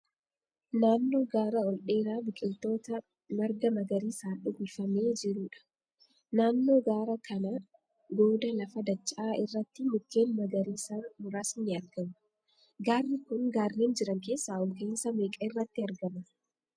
Naannoo gaara ol dheeraa biqiltoota marga magariisaan uwwifamee jiruudha. Naannoo gaara kana goodaa lafa dacha'aa irratti mukkeen magariisaa muraasni ni argamu. Gaarri ku gaarreen jiran keessaa ol ka'iinsa meeqa irratti argama?